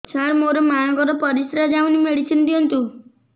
ସାର ମୋର ମାଆଙ୍କର ପରିସ୍ରା ଯାଉନି ମେଡିସିନ ଦିଅନ୍ତୁ